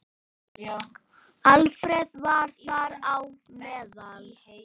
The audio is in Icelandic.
Alfreð var þar á meðal.